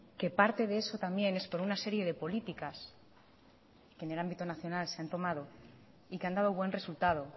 que parte de eso también es por una serie de políticas que en el ámbito nacional se han tomado y que han dado buen resultado